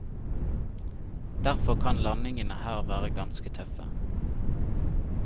Derfor kan landingene her være ganske tøffe.